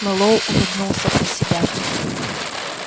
мэллоу улыбнулся про себя